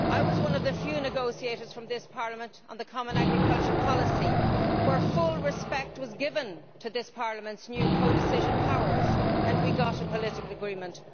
I was one of the few negotiators from this Parliament on the common agricultural policy, on which full respect was given to this Parliament's new codecision powers and where we got a political agreement.